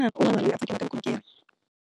Un'wana na un'wana loyi a tsakelaka vukorhokeri.